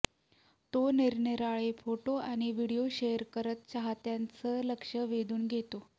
तो निरनिराळे फोटो आणि व्हिडीओ शेअर करत चाहत्यांचं लक्ष वेधून घेतो